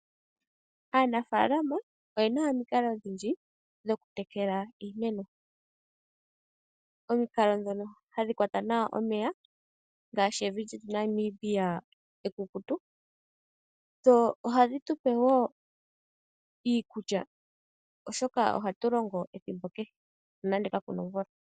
Aanafalama oye na omikalo odhindji dhokutekela iimeno. Omikalo ndhono hadhi kwata nawa omeya ngaashi evi lyetu Namibia ekukutu. Dho ohadhi tu pe wo iikulya, oshoka ohatu longo dhi koke nonando kaku na omvula.